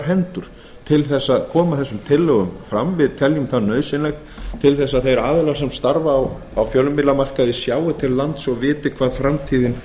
hendur til þess að koma tillögunum fram við teljum það nauðsynlegt til þess að þeir aðilar sem starfa á fjölmiðlamarkaði sjái til lands og viti hvað framtíðin